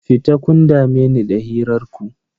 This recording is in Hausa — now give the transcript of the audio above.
Fita, kun dame ni da hirar ku.